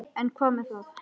En hvað með það?